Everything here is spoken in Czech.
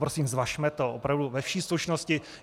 Prosím, zvažme to opravdu ve vší slušnosti.